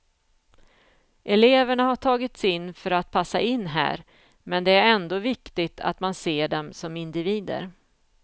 Eleverna har tagits in för att passa in här, men det är ändå viktigt att man ser dem som individer.